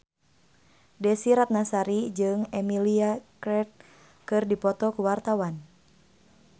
Desy Ratnasari jeung Emilia Clarke keur dipoto ku wartawan